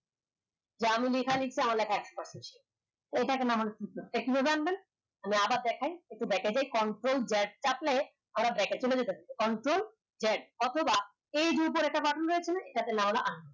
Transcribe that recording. যে আমি লেখা আমার লেখা একশ percent sure এটা আমার আমি আবার দেখায় একটু দেখায় দেই Ctrl Z চাপলে আবার দেখাই Ctrl Z অথবা এই button আছে না